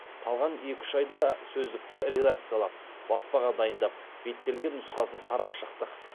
қалған екі үш айда сөздікті редакциялап баспаға дайындап беттелген нұсқасын қарап шықтық